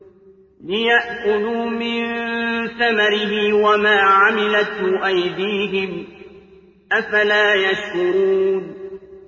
لِيَأْكُلُوا مِن ثَمَرِهِ وَمَا عَمِلَتْهُ أَيْدِيهِمْ ۖ أَفَلَا يَشْكُرُونَ